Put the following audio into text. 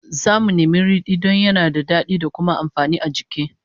Zamu nemi ridi don yana da dadi da kuma amfani a jiki